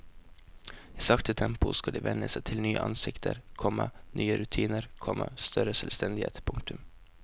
I sakte tempo skal de venne seg til nye ansikter, komma nye rutiner, komma større selvstendighet. punktum